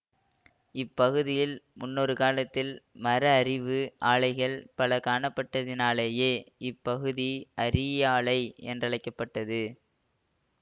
இப்பகுதியில் முன்னொரு காலத்தில் மரஅரிவு ஆலைகள் பல காணப்பட்டதினாலேயே இப்பகுதி அரியாலை என்றழைக்க பட்டது